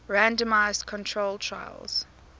randomized controlled trials